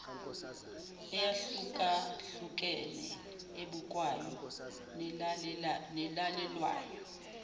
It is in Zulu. eyahlukahlukene ebukwayo nelalelwayo